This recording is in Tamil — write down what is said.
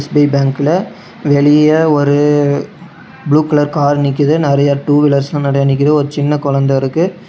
எஸ்_பி_ஐ பேங்க்ல வெளிய ஒரு ப்ளூ கலர் கார் நிக்குது நெறையா டூ வீலர்ஸ்லா நெறையா நிக்குது ஒரு சின்ன கொழந்த இருக்கு.